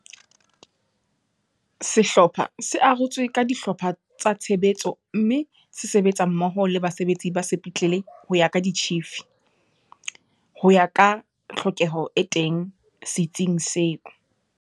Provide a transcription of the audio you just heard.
Sehlopha se arotswe ka dihlopha tsa tshebetso mme se sebetsa mmoho le basebetsi ba sepetlele ho ya ka ditjhifi, ho ya ka tlhokeho e teng se tsing seo.